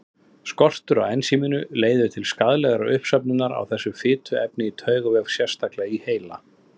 Skortur á ensíminu leiðir til skaðlegrar uppsöfnunar á þessu fituefni í taugavef, sérstaklega í heila.